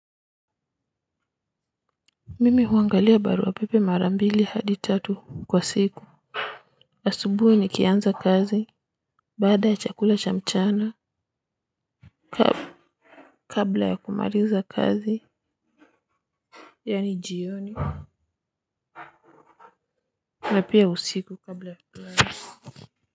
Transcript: Mu huangalia barua pepe mara mbili hadi tatu kwa siku. Asubuhi nikianza kazi, baada ya chakula cha mchana kabla ya kumaliza kazi, yaani jioni na pia usiku kabla ya.